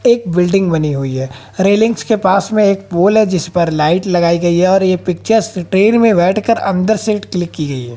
एक बिल्डिंग बनी हुई है रैलिंग्स के पास में एक पोल है जिस पर लाइट लगाई गई है और ये पिक्चर्स ट्रेन में बैठकर अंदर से क्लिक की गई है।